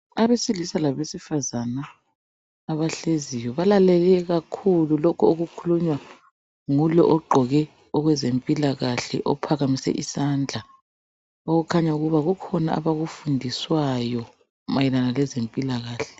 Abesilisa labesifazana abahleziyo balalele kakhulu lokho okukhulunywa ngulo ogqoke owezempilakahle ophakamise isandla okukhanya ukuba kukhona abakufundiswayo mayelana lokwezempilakahle